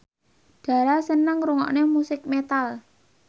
Dara seneng ngrungokne musik metal